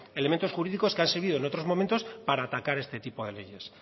elementos jurídicos que han servido en otros momentos para atacar este tipo de leyes